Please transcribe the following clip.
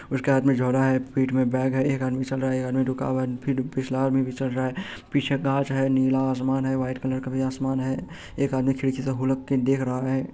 उसके हाथ में झोला है पीठ में बैग है एक आदमी चल रहा है एक आदमी रुका हुआ है फिर पिछला आदमी भी चला रहा है पीछे गाछ है नीला आसमान है वाईट कलर का भी आसमान है एक आदमी खिड़की से हुलक के देख रहा है।